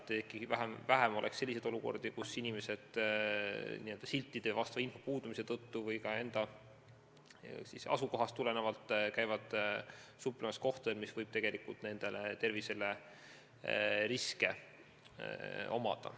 Peaks olema vähem olukordi, kus inimesed n-ö siltide, igasuguse info puudumise tõttu käivad suplemas kohtades, kus tegelikult võib tegu olla riskiga nende tervisele.